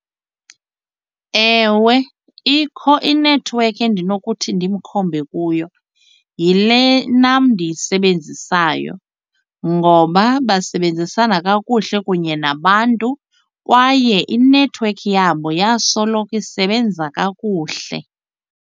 Ewe, ikho inethiwekhi endinokuthi ndimkhombe kuyo, yile nam ndiyisebenzisayo ngoba basebenzisana kakuhle kunye nabantu kwaye inethiwekhi yabo yasoloko isebenza kakuhle.